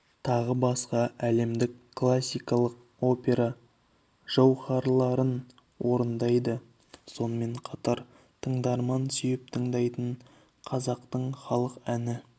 тағы басқа әлемдік классикалық опера жауһарларын орындайды сонымен қатар тыңдарман сүйіп тыңдайтын қазақтың халық әні